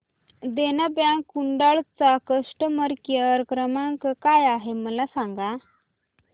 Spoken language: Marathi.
देना बँक कुडाळ चा कस्टमर केअर क्रमांक काय आहे मला सांगा